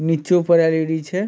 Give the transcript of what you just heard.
नीचो पर एल.इ.डी. छै।